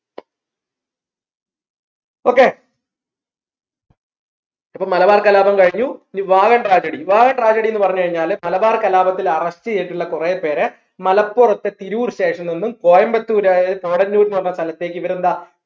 okay അപ്പോ മലബാർ കലാപം കഴിഞ്ഞു ഇനി വാഗൺ tragedy വാഗൺ tragedy എന്നു പറഞ്ഞു കഴിഞ്ഞാൽ മലബാർ കലാപത്തിൽ arrest ചെയ്തിട്ടുള്ള കുറെപേര മലപ്പുറത്തെ തിരൂർ station ൽ നിന്നും കോയമ്പത്തൂർ ആയ ന്ന് പറഞ്ഞ സ്ഥലത്തേക്ക് ഇവരെന്താ